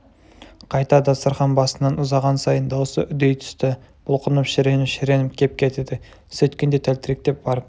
қайта дастарқан басынан ұзаған сайын даусы үдей түсті бұлқынып шіреніп-шіреніп кеп кетеді сөйткенде тәлтіректеп барып